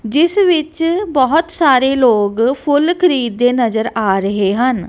ਇਸ ਵਿੱਚ ਬਹੁਤ ਸਾਰੇ ਲੋਕ ਫੁੱਲ ਖਰੀਦ ਦੇ ਨਜ਼ਰ ਆ ਰਹੇ ਹਨ।